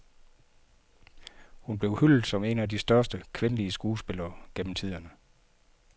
Hun blev hyldet som en af de største, kvindelige skuespillere gennem tiderne.